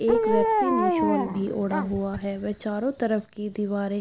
एक व्यक्ति ने सोला भी अड़ा हुआ है वे चारो तरफ की दीवारे। --